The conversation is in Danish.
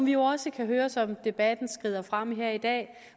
jo også kan høre som debatten skrider frem her i dag